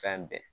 Fɛn bɛɛ